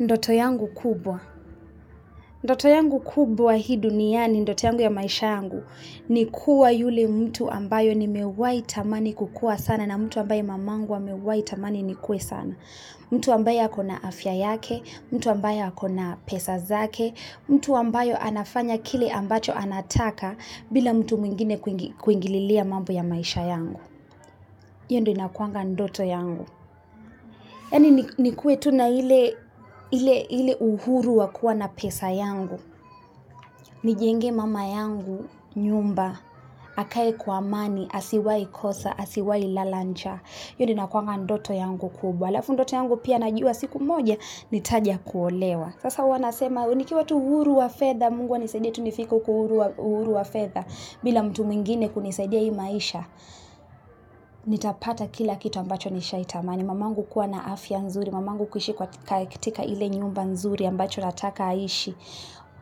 Ndoto yangu kubwa. Ndoto yangu kubwa hii duniani, ndoto yangu ya maisha yangu, ni kuwa yule mtu ambaye nimewai tamani kukua sana na mtu ambaye mamangu amewai tamani nikue sana. Mtu ambaye ako na afya yake, mtu ambaye ako na pesa zake, mtu ambaye anafanya kile ambacho anataka bila mtu mwingine kuingililia mambo ya maisha yangu. Hiyo ndio inakuanga ndoto yangu. Yaani nikuwe tu na ile uhuru wa kuwa na pesa yangu. Nijengee mama yangu nyumba. Akae kwa amani. Asiwahi kosa, asiwahi lala njaa. Hiyo ndio inakuanga ndoto yangu kubwa. Alafu ndoto yangu pia najua siku moja. Nitaja kuolewa. Sasa huwa nasema. Nikiwa tu huru wa fedha. Mungu anisaidie tu nifike huku huru wa fedha bila mtu mwingine kunisaidia hii maisha. Nitapata kila kitu ambacho nishaitamani. Mamangu kuwa na afya nzuri, mamangu kuishi kwa katika ile nyumba nzuri ambacho nataka aishi.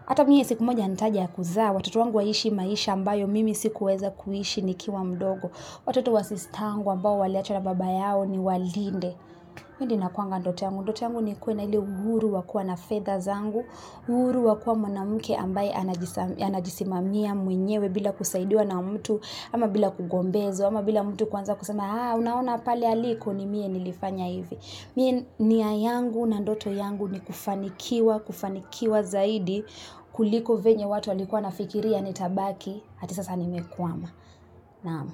Ata mie siku moja nitaja kuzaa, watoto wangu waishi maisha ambayo mimi sikuweza kuishi nikiwa mdogo. Watoto wa sister yngu ambao waliachwa na baba yao niwalinde. Hiyo ndio inakuanga ndoto yangu, ndoto yangu nikuwe na ile uhuru wa kua na fedha zangu, uhuru wa kuwa mwanamke ambaye anajisimamia mwenyewe bila kusaidiwa na mtu, ama bila kugombezwa, ama bila mtu kuanza kusema, haa, unaona pale aliko ni mie nilifanya hivi. Mie nia yangu na ndoto yangu ni kufanikiwa, kufanikiwa zaidi, kuliko venye watu walikuwa wanafikiria nitabaki, ati sasa nimekwama. Naam.